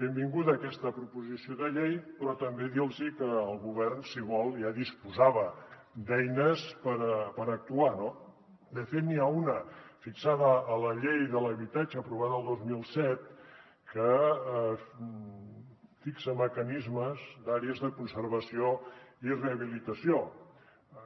benvinguda aquesta proposició de llei però també dir los que el govern si vol ja disposava d’eines per actuar no de fet n’hi ha una fixada a la llei de l’habitatge aprovada el dos mil set que fixa mecanismes d’àrees de conservació i rehabilitació